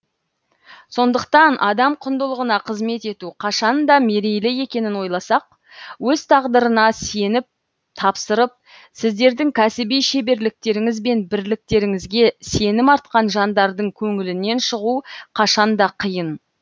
сондықтан адам құндылығына қызмет ету қашанда мерейлі екенін ойласақ өз тағдырын сеніп тапсырып сіздердің кәсіби шеберліктеріңіз бен біліктіліктеріңізге сенім артқан жандардың көңілінен шығу қашанда қиын